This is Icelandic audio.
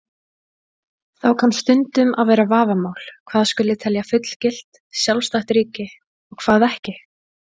Þá kann stundum að vera vafamál hvað skuli telja fullgilt, sjálfstætt ríki og hvað ekki.